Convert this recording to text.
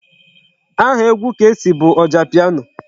Aha egwu Kcee bụ Ojapiano.